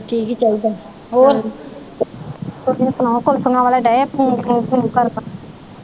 ਠੀਕ ਈ ਚਾਹੀਦਾ ਤੁਸੀ ਸੁਣਾਓ ਕੁਲਫੀਆਂ ਵਾਲੇ ਦਏ ਪੂ ਪੂ ਪੂ ਕਰਨ।